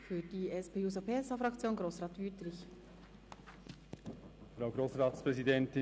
Für die SP-JUSO-PSA-Fraktion, Grossrat Wüthrich.